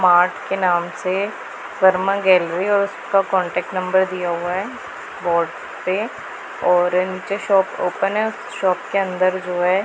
Mart के नाम से शर्मा गैलरी और उसका कांटेक्ट नंबर दिया हुआ है बोर्ड पे और उनके शॉप ओपन है शॉप के अंदर जो है।